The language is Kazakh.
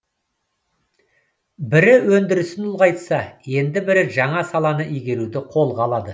бірі өндірісін ұлғайтса енді бірі жаңа саланы игеруді қолға алды